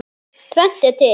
Tvennt er til.